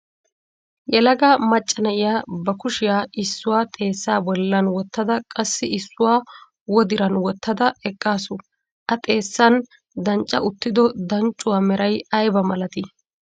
Yelaga macca na'iya ba kushiya issuwa xeessa bollan wottada qassi issuwa wodiran wottada eqqaasu. A xeessan dancca uttido danccuwa meray aybba malatii?